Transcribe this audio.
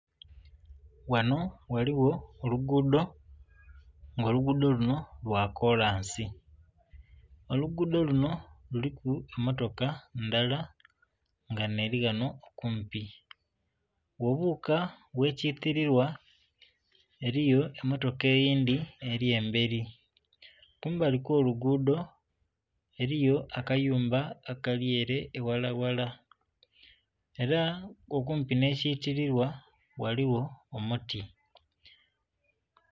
Ghanho ghaligho olugudho nga olugudho lunho lwa kolansi, olugudho lunho kuliku emotoka ndala nga nheri ghanho okumpi. Ghobuuka ghe kitililwa eriyo emotoka eyindhi eri emberi, kumbali kwo lugudho eriyo akayumba akali ere eghala ghala era nga okumpi nhe kitililwa ghaligho omuti.